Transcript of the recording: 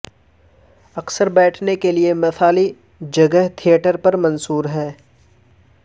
اکثر بیٹھنے کے لئے مثالی جگہ تھیٹر پر منحصر ہے